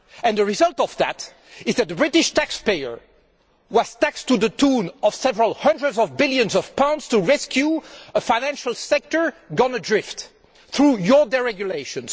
The result is that the British taxpayer was taxed to the tune of several hundreds of billions of pounds to rescue a financial sector gone adrift through your deregulation.